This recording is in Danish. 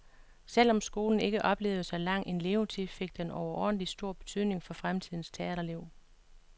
Selv om skolen ikke oplevede så lang en levetid, fik den overordentlig stor betydning for fremtidens teaterliv.